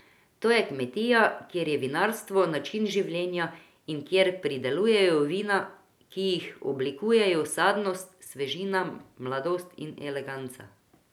To je kmetija, kjer je vinarstvo način življenja in kjer pridelujejo vina, ki jih odlikujejo sadnost, svežina, mladost in eleganca.